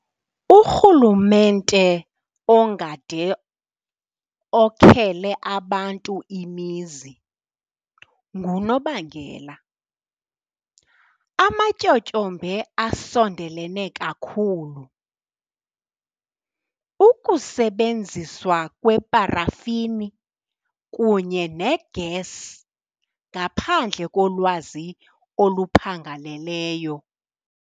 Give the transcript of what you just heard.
Urhulumente ongade okhele abantu imizi ngunobangela. Amatyotyombe asondelene kakhulu, ukusebenziswa kweparafini kunye negesi ngaphandle kolwazi oluphangaleleyo.